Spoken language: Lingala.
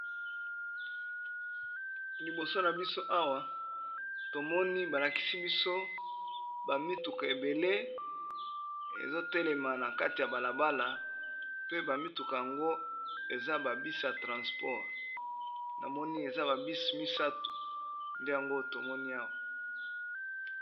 Liboso na biso awa tomoni balakisi biso bamituka ebele ezotelema na kati ya balabala pe bamituka yango eza babis ya transport na moni eza babis misato nde yango tomoni awa.